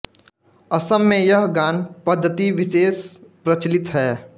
असम में यह गान पद्धति विशेष प्रचलित है